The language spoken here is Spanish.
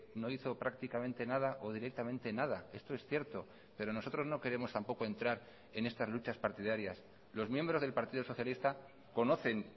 no hizo prácticamente nada o directamente nada esto es cierto pero nosotros no queremos tampoco entrar en estas luchas partidarias los miembros del partido socialista conocen